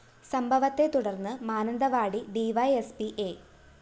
സംഭവത്തെ തുടര്‍ന്ന് Mananthavady DYSP A